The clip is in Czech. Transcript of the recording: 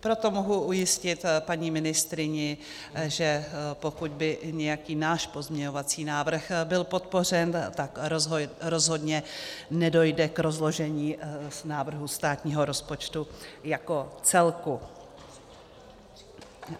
Proto mohu ujistit paní ministryni, že pokud by nějaký náš pozměňovací návrh byl podpořen, tak rozhodně nedojde k rozložení návrhu státního rozpočtu jako celku.